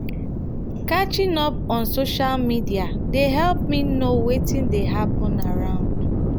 catching up on social media dey help me know wetin dey hapun around.